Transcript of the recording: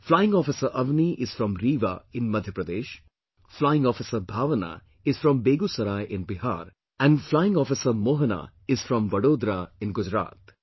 Flying Officer Avni is from Rewa in Madhya Pradesh, Flying Officer Bhawana is from Begusarai in Bihar and Flying Officer Mohana is from Vadodara in Gujarat